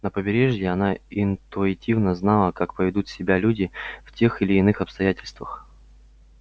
на побережье она интуитивно знала как поведут себя люди в тех или иных обстоятельствах